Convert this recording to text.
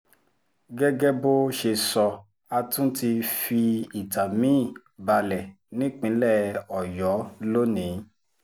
gẹ́gẹ́ bó ṣe sọ a tún ti fi ìtàn mi-ín balẹ̀ nípìnlẹ̀ ọ̀yọ́ lónìí